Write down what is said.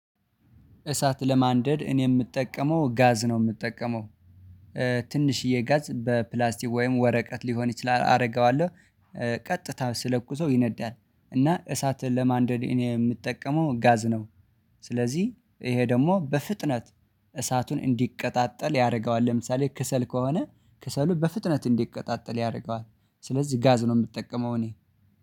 እሳት ለማንደድ እኔ የምጠቀመው ጋዝ ነው የምጠቀመው ትንሽዬ ጋዝ በፕላስቲክ ወይም ወረቀት ሊሆን ይችላል አርገዋለሁ ቀጥታ ስለኩሰው ይነዳል። እና እሳትን ለማንደድ እኔ የምጠቀመው ጋዝ ነው። ስለዚህ ይሄ ደግሞ በፍጥነት እሳቱን እንዲቀጣጠል ያደርገዋል። ለምሳሌ ከሰል ከሆነ ክሰሉ በፍጥነት እንዲቀጣጠል ያደርገዋል። ስለዚህ ጋዝ ነው የምትጠቀመው እኔ